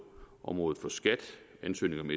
området for skat ansøgning om